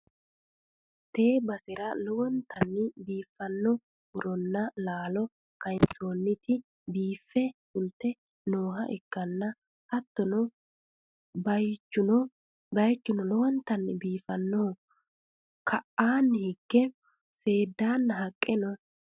tee basera lowontanni biiffanno muronna laalo kayiinsoonniti biiffe fulte nooha ikkanna, hattono bayichuno lowonta biifannoho, ka'aanni higeno seeddanna haqqe no.